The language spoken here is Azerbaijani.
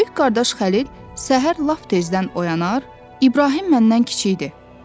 Böyük qardaş Xəlil səhər lap tezdən oyanar, İbrahim məndən kiçikdir.